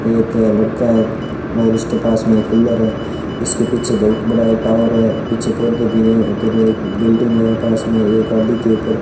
एक लड़का है और इसके पास में एक कूलर है इसके पीछे बहुत बड़ा एक टॉवर है पीछे-पौधे भी है इधर एक बिल्डिंग है पास में एक गाड़ी के ऊपर --